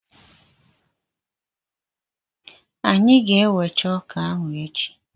Anyị ga-ewecha ọka ahụ echi.